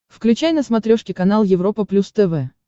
включай на смотрешке канал европа плюс тв